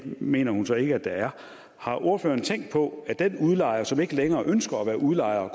mener hun så ikke at der er har ordføreren tænkt på at den udlejer som ikke længere ønsker at være udlejer